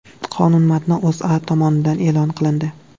Qonun matni O‘zA tomonidan e’lon qilindi .